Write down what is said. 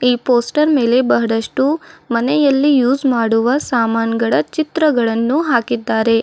ಈ ಪೋಸ್ಟರ್ ಮೇಲೆ ಬಹಳಷ್ಟು ಮನೆಯಲ್ಲಿ ಯೂಸ್ ಮಾಡುವ ಸಾಮಾನುಗಳ ಚಿತ್ರಗಳನ್ನು ಹಾಕಿದ್ದಾರೆ.